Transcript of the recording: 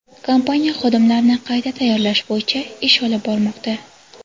Kompaniya xodimlarni qayta tayyorlash bo‘yicha ish olib bormoqda.